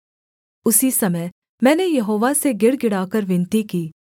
उसी समय मैंने यहोवा से गिड़गिड़ाकर विनती की